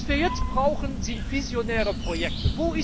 Was wir jetzt brauchen, sind visionäre Projekte.